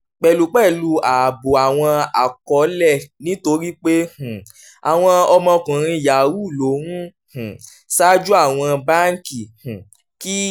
pẹ̀lúpẹ̀lú ààbò àwọn àkọọọ́lẹ̀ nítorí pé um àwọn ọmọkùnrin yahoo ló ń um ṣáájú àwọn báńkì um kí